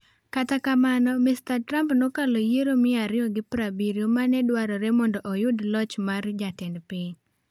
Kata kamano, Mr Trump nokalo yiero 270 ma ne dwarore mondo oyud loch mar jatend piny.